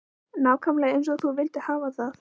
Nákvæmlega eins og hún vildi hafa það.